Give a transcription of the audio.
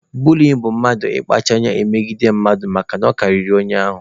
Buliyin bụ mmadụ ịkpacha anya na-emegide mmadụ makana ọ karịrị onye ahụ.